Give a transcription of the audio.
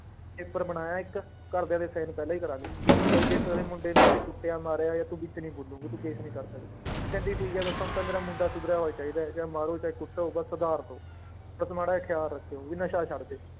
Paper ਬਣਾਇਆ ਇੱਕ ਘਰਦਿਆਂ ਦੇ sign ਪਹਿਲਾਂ ਹੀ ਕਰਵਾ ਲਏ ਵੀ ਜੇ ਤੁਹਾਡੇ ਮੁੰਡੇ ਨੂੰ ਅਸੀਂ ਕੁੱਟਿਆ, ਮਾਰਿਆ ਜਾਂ ਤੂੰ ਵਿੱਚ ਨੀ ਬੋਲੋਂਗੇ ਤੂੰ case ਨੀ ਕਰ ਸਕਦੇ, ਉਹ ਕਹਿੰਦੇ ਠੀਕ ਹੈ ਬਸ ਹੁਣ ਤਾਂ ਮੇਰਾ ਮੁੰਡਾ ਸੁਧਰਿਆ ਹੋਇਆ ਚਾਹੀਦਾ ਹੈ, ਜਾਂ ਮਾਰੋ ਚਾਹੇ ਕੁੱਟੋ ਬਸ ਸੁਧਾਰ ਦਓ ਬਸ ਮਾੜਾ ਜਿਹਾ ਖ਼ਿਆਲ ਰੱਖਿਓ ਵੀ ਨਸ਼ਾ ਛੱਡ ਦਏ।